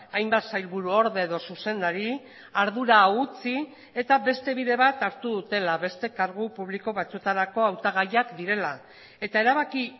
hainbat sailburuorde edo zuzendari ardura hau utzi eta beste bide bat hartu dutela beste kargu publiko batzuetarako hautagaiak direla eta erabaki